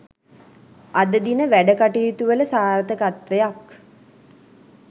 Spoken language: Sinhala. අද දින වැඩකටයුතුවල සාර්ථකත්වයක්